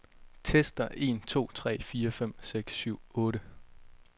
Tester en to tre fire fem seks syv otte.